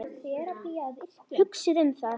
Hugsið um það.